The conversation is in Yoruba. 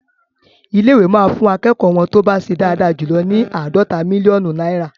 Ilé-ìwé máa fún akẹ́kọ̀ọ́ wọ́n tó bá ṣe dáadáa jù ní àádọ́ta mílíọ́nù náìrà..